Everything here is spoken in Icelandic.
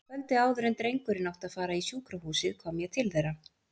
Kvöldið áður en drengurinn átti að fara í sjúkrahúsið kom ég til þeirra.